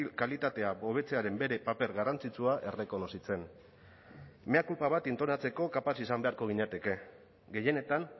kalitatea hobetzearen bere paper garrantzitsua errekonozitzen mea culpa bat entonatzeko kapaz izan beharko ginateke gehienetan